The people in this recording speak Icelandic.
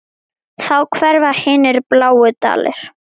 Þá hverfa hinir bláu dalir.